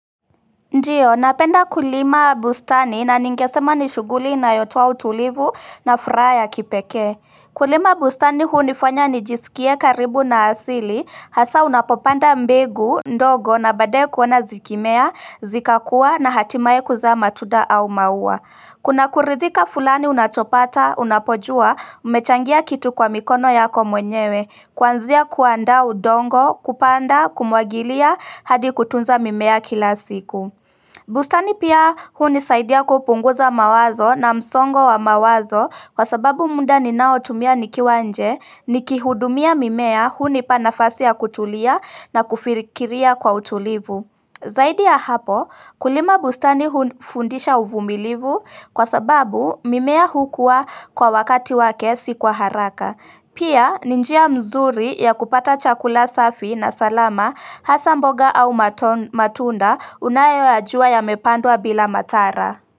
Ndiyo, napenda kulima bustani na ningesema nishughuli inayotoa utulivu na furaha ya kipeke. Kulima bustani hunifanya nijisikie karibu na asili, hasa unapopanda mbegu, ndogo na baadae kuona zikimea, zikakuwa na hatimaye kuzaa matunda au maua. Kuna kuridhika fulani unachopata, unapojua, umechangia kitu kwa mikono yako mwenyewe, kwanzia kuandaa udongo, kupanda, kumwagilia, hadi kutunza mimea kila siku. Bustani pia hunisaidia kupunguza mawazo na msongo wa mawazo kwa sababu muda ninao tumia nikiwa nje niki hudumia mimea hunipa nafasi ya kutulia na kufirikiria kwa utulivu. Zaidi ya hapo kulima bustani hunifundisha uvumilivu kwa sababu mimea hukua kwa wakati wake si kwa haraka. Pia ni njia mzuri ya kupata chakula safi na salama hasa mboga au matunda unayo yajua yame pandwa bila madhara.